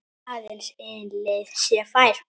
Aðeins ein leið sé fær.